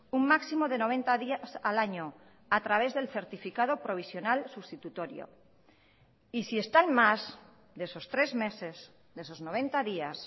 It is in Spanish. un máximo de noventa días al año a través del certificado provisional sustitutorio y si están más de esos tres meses de esos noventa días